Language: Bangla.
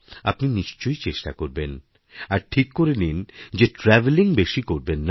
আপনি নিশ্চয়ই চেষ্টাকরবেন আর ঠিক করে নিন যে ট্র্যাভলিং বেশি করবেন না